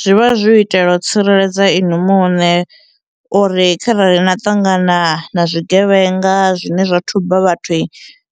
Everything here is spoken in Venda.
Zwivha zwi u itela u tsireledza inwi muṋe uri kharali na ṱangana na zwigevhenga zwine zwa thuba vhathu